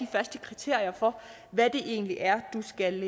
faste kriterier for hvad det egentlig er du skal